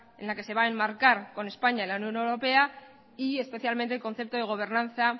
en la que se va a enmarcar con españa en la unión europea y especialmente el concepto de gobernanza